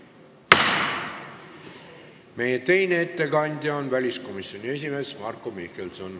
Meie teine ettekandja on väliskomisjoni esimees Marko Mihkelson.